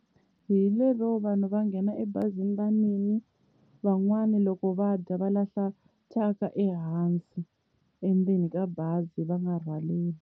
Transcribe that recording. Hi lero vanhu va nghena ebazini va nwile. Van'wani loko va dya va lahla thyaka ehansi endzeni ka bazi va nga rhwaleli.